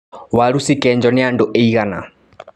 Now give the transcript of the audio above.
Waru cikenjwo nĩ andũ aigana.